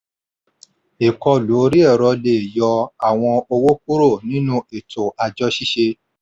ìkọlù orí ẹ̀rọ lè yọ àwọn owó kúrò nínú ètò àjọ ṣíṣe.